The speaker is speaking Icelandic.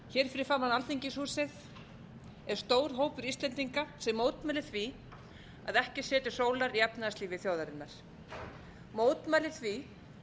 hér fyrir framan alþingishúsið er stór hópur íslendinga sem mótmælir því að ekki sér til sólar í efnahagslífi þjóðarinnar mótmælir því